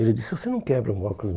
Ele disse, você não quebra um óculos